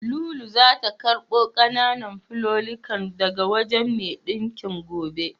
Lulu zata karɓo ƙananan fulallikan daga wajen mai ɗinkin gobe.